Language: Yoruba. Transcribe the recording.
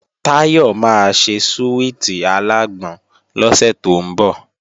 Táyọ̀ máa ṣe súwìtì alágbọn lọ́sẹ̀ tó ń bọ̀